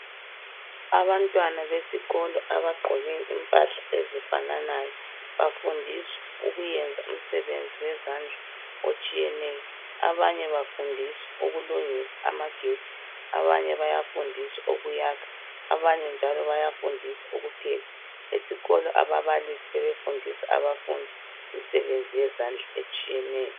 Abantwana besikolo abagqoke impahla ezifananayo bafundiswa ukuyenza umsebenzi wezandla otshiyeneyo. Abanye bafundiswa ukulungisa amagetsi, abanye bayafundiswa ukuyakha abanye njalo bayafundiswa ukupheka. Esikolo ababalisi sebefundisa abafundi imisebenzi yezandla etshiyeneyo.